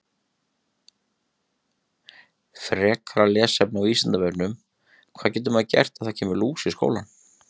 Frekara lesefni á Vísindavefnum: Hvað getur maður gert ef það kemur lús í skólann?